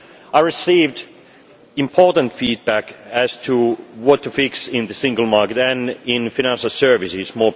I received important feedback as to what to fix in the single market and, more especially, in financial services.